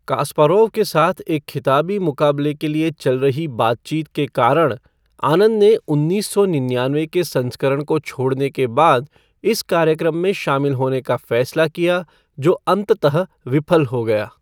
Kasparov के साथ एक खिताबी मुकाबले के लिए चल रही बातचीत के कारण आनंद ने उन्नीस सौ निन्यान्वे के संस्करण को छोड़ने के बाद इस कार्यक्रम में शामिल होने का फैसला किया, जो अंततः विफल हो गया।